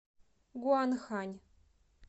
гуанхань